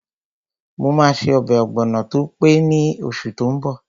Mo máa ṣe ọbẹ̀ ọ̀gbọ̀nọ̀ tó pé ní oṣù tó n bọ̀